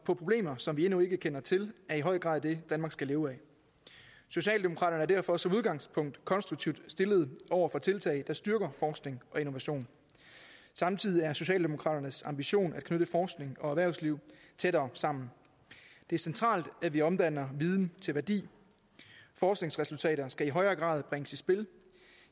på problemer som vi endnu ikke kender til er i høj grad det danmark skal leve af socialdemokraterne er derfor som udgangspunkt konstruktivt indstillet over for tiltag der styrker forskning og innovation samtidig er det socialdemokraternes ambition at knytte forskning og erhvervsliv tættere sammen det er centralt at vi omdanner viden til værdi forskningsresultater skal i højere grad bringes i spil